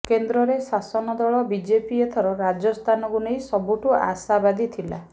କେନ୍ଦ୍ରରେ ଶାସକ ଦଳ ବିଜେପି ଏଥର ରାଜସ୍ଥାନକୁ ନେଇ ସବୁଠୁ ଆଶାବାଦୀ ଥିଲା